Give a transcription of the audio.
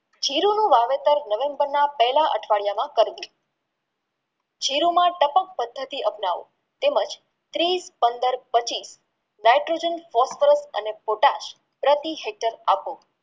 જીરુંનું વાવેતર નવેમ્બરના પહેલા અઠવાડિયામાં કરવું જીરુમાં ટપક પદ્ધતિ અપનાવો તેમજ ત્રીસ પંદર પછી નાઇટ્રોજન અને Potex પ્રતિ શીતલ આપો